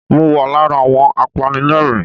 Mo wà lára àwọn apẹ́lẹ́yìn.